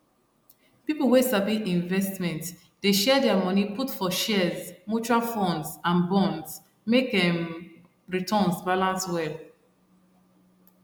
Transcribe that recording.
people wey sabi investment dey share their money put for shares mutual funds and bonds make um returns balance well